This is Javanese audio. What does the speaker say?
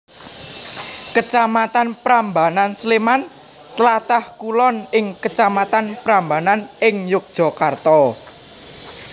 Kecamatan Prambanan Sleman tlatah kulon ing kecamatan Prambanan ing Yogjakarta